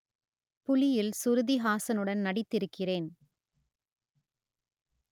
புலியில் சுருதிஹாசனுடன் நடித்திருக்கிறேன்